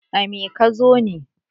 a me ka zo ne?